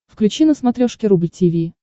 включи на смотрешке рубль ти ви